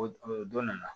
O o dɔ nana